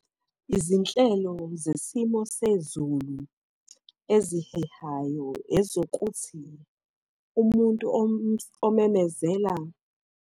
Izinhlelo zesimo sezulu ezihehayo, ezokuthi umuntu omemezela.